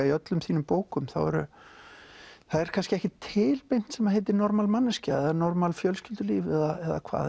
í öllum þínum bókum það er kannski ekkert til sem heitir normal manneskja eða normal fjölskyldulíf eða